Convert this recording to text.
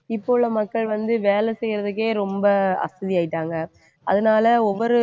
இப்ப உள்ள மக்கள் வந்து வேலை செய்யறதுக்கே ரொம்ப அசதி ஆயிட்டாங்க அதனால ஒவ்வொரு